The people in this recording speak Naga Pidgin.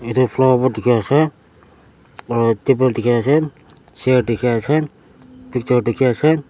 edu flower pot dikhiase aro table dikhiase chair dikhiase picture dikhiase.